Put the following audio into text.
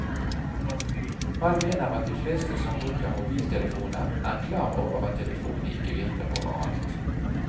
Han mener at de fleste som bruker mobiltelefoner er klar over at telefonene ikke virker over alt.